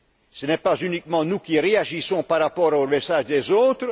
Ce n'est pas seulement nous qui réagissons par rapport au message des autres.